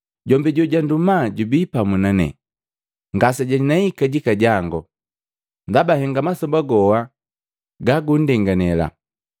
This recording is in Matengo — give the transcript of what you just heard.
Jombi jojanduma jubi pamu nane, ngasejanei kajika jango, ndaba henga masoba goha ga gundenganile.”